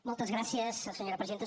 moltes gràcies senyora presidenta